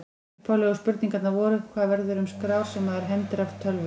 Upphaflegu spurningarnar voru: Hvað verður um skrár sem maður hendir af tölvu?